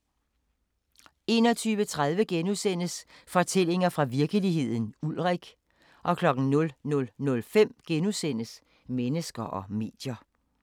21:30: Fortællinger fra virkeligheden – Ulrik * 00:05: Mennesker og medier *